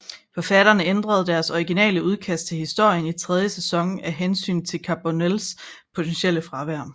Forfatterne ændrede deres originale udkast til historien i tredje sæson af hensyn til Carbonells potentielle fravær